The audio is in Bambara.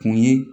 Kun ye